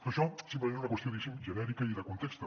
però això simplement és una qüestió diguéssim genèrica i de context